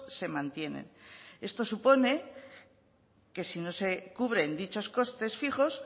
se mantienen eso supone que si no se cubren dichos costes fijos